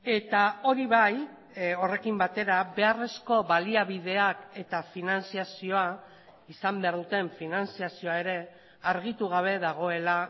eta hori bai horrekin batera beharrezko baliabideak eta finantzazioa izan behar duten finantzazioa ere argitu gabe dagoela